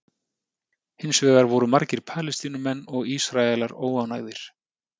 Hins vegar voru margir Palestínumenn og Ísraelar óánægðir.